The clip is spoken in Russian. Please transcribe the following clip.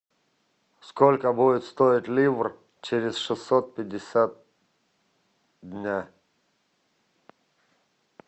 сколько будет стоить ливр через шестьсот пятьдесят дня